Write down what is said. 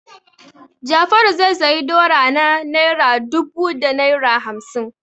Jafaru zai sayi dora na naira dubu da naira hamsin.